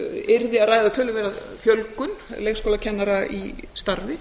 yrði að ræða töluverða fjölgun leikskólakennara í starfi